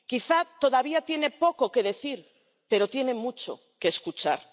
quizá todavía tiene poco que decir, pero tiene mucho que escuchar—.